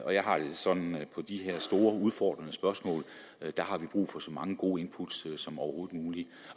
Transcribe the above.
jeg har det sådan at de her store udfordrende spørgsmål har vi brug for så mange gode input som overhovedet muligt